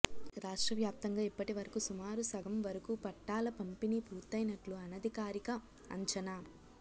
రాష్ట్రవ్యాప్తంగా ఇప్పటివరకు సుమారు సగం వరకు పట్టాల పంపిణీ పూర్తైనట్లు అనధికారిక అంచనా